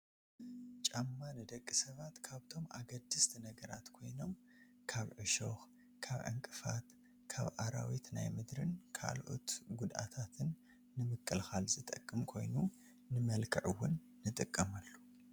ጫማ ንደቂ ሰባት ካብቶም ኣገደስቲ ነገራት ኮይኖም ካብ ዕሾኽ፣ ካብ ዕንቅፋት፣ ካብ ኣራዊት ናይ ምድርን ካልኦት ጉድኣታትን ንምኽልኻል ዝጠቅም ኮይኑ ንመልክዕ ውን ንጥቀመሉ፡፡